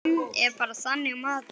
Hann er bara þannig maður.